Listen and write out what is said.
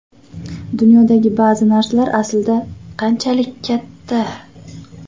Dunyodagi ba’zi narsalar aslida qanchalik katta?